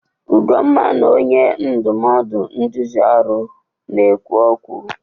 Ugonma na onye ndụmọdụ nduzi ọrụ na-ekwu okwu.